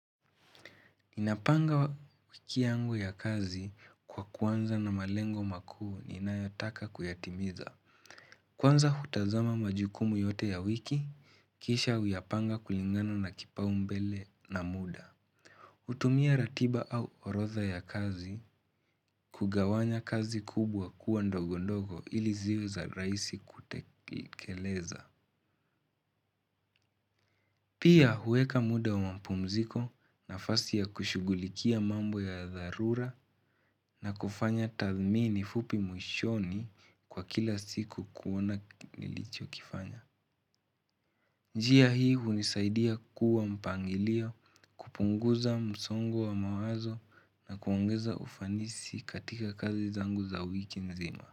Nina panga wiki yangu ya kazi kwa kuanza na malengo makuu ninayotaka kuyatimiza. Kwanza hutazama majukumu yote ya wiki, kisha huyapanga kulingana na kipaumbele na muda. Hutumia ratiba au orodha ya kazi kugawanya kazi kubwa kuwa ndogo ndogo ili ziwe za rahisi kutekeleza. Pia huweka muda wa mapumziko nafasi ya kushugulikia mambo ya dharura na kufanya tathmini fupi mwishoni kwa kila siku kuoana nilicho kifanya. Njia hii hunisaidia kuwa mpangilio kupunguza msongo wa mawazo na kuongeza ufanisi katika kazi zangu za wiki nzima.